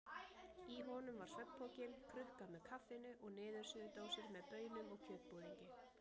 Í honum var svefnpokinn, krukka með kaffinu og niðursuðudósir með baunum og kjötbúðingi.